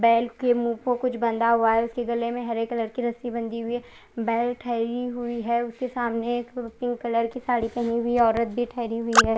Bell के मुह पर कुछ बाँदा हुआ है उसके गले में हरे कलर की रस्सी बंदी हुई है बेल ठहरी हुई है उसके सामने एक पिंक कलर की साड़ी पहनी हुई ओरत भी ठहरी हुई है।